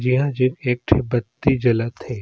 जेहा जे एक ठो बत्ती जलत हे।